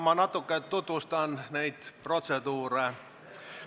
Ma natuke tutvustan protseduuri.